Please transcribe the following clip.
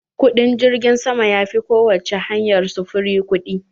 Kuɗin jirgim sama ya fi ko wacce hanyar sufuri kuɗi.